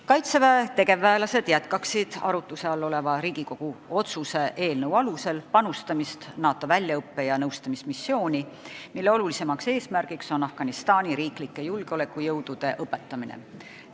Kaitseväe tegevväelased jätkaksid arutluse all oleva Riigikogu otsuse eelnõu alusel panustamist NATO väljaõppe- ja nõustamismissiooni, mille olulisim eesmärk on Afganistani julgeolekujõudude õpetamine.